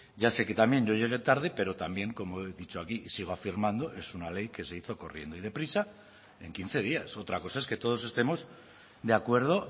ya sé que también yo llegué tarde pero también como he dicho aquí sigo afirmando es una ley que se hizo corriendo y de prisa en quince días otra cosa es que todos estemos de acuerdo